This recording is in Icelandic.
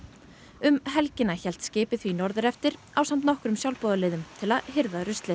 um helgina hélt skipið því norður eftir ásamt nokkrum sjálfboðaliðum til að hirða ruslið